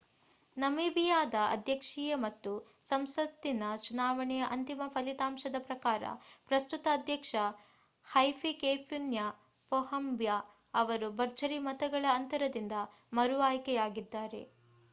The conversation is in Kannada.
ನಮೀಬಿಯಾದ ಅಧ್ಯಕ್ಷೀಯ ಮತ್ತು ಸಂಸತ್ತಿನ ಚುನಾವಣೆಯ ಅಂತಿಮ ಫಲಿತಾಂಶದ ಪ್ರಕಾರ ಪ್ರಸ್ತುತ ಅಧ್ಯಕ್ಷ ಹೈಫಿಕೇಪುನ್ಯೆ ಪೊಹಂಬಾ ಅವರು ಭರ್ಜರಿ ಮತಗಳ ಅಂತರದಿಂದ ಮರು ಆಯ್ಕೆಯಾಗಿದ್ದಾರೆ